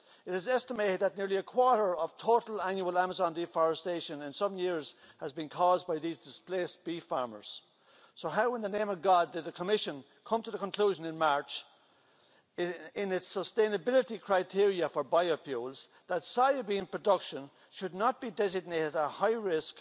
It is estimated that nearly a quarter of total annual Amazon deforestation in recent years has been caused by these displaced beef farmers, so how in the name of God did the Commission come to the conclusion in March in its sustainability criteria for biofuels that soya bean production should not be designated a high risk